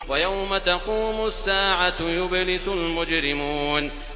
وَيَوْمَ تَقُومُ السَّاعَةُ يُبْلِسُ الْمُجْرِمُونَ